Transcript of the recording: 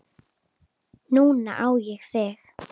Núna á ég þig.